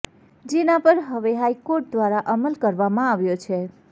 જેના પર હવે હાઈકોર્ટ દ્વારા અમલ કરવામાં આવ્યો છે